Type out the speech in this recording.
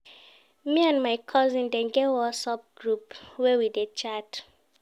Me and my cousin dem get Whatsapp group where we dey chat